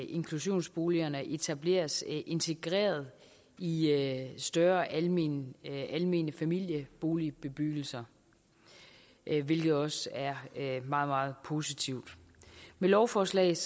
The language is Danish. inklusionsboligerne etableres integreret i større almene almene familieboligbebyggelser hvilket også er meget meget positivt med lovforslaget